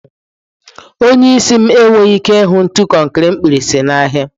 Onye isi m enweghị ike ịhụ ntu konkiri mkpirisi n'ahịa.